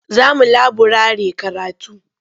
Za mu laburare karatu.